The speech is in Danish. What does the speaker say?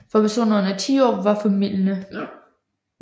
For personer under ti år var formildende